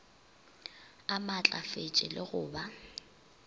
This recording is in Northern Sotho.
a maatlafetše le go ba